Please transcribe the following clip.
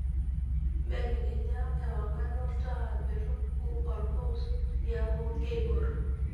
belekenya ewangan olntaa meetupuk otopuz niaku keibor